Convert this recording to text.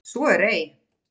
Svo er ei.